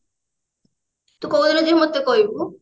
ତୁ କୋଉ ଦିନ ଯିବୁ ମତେ କହିବୁ